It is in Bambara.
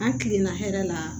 An kilenna hɛrɛ la